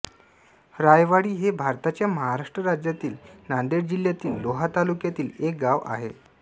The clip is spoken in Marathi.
रायवाडी हे भारताच्या महाराष्ट्र राज्यातील नांदेड जिल्ह्यातील लोहा तालुक्यातील एक गाव आहे